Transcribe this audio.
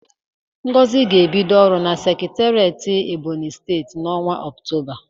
Ngozi ga-ebido ọrụ na sekiteret Ebonyi steeti n'ọnwa ọktoba.